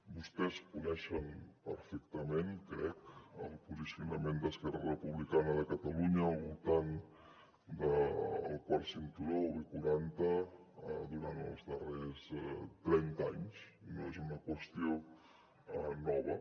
vostès coneixen perfectament crec el posicionament d’esquerra republicana de catalunya al voltant del quart cinturó o b quaranta durant els darrers trenta anys no és una qüestió nova